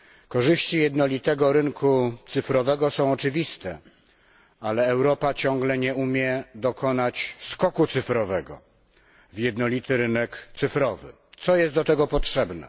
Korzyści jednolitego rynku cyfrowego są oczywiste, ale Europa ciągle nie umie dokonać skoku cyfrowego w jednolity rynek cyfrowy. Co jest do tego potrzebne?